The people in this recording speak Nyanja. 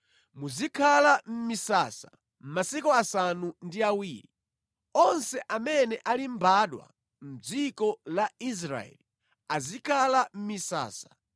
Muzikhala mʼmisasa masiku asanu ndi awiri. Onse amene ali mbadwa mʼdziko la Israeli azikhala mʼmisasa